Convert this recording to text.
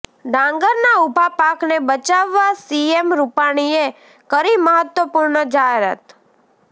ડાંગરના ઉભા પાકને બચાવવા સીએમ રૂપાણીએ કરી મહત્તવપૂર્ણ જાહેરાત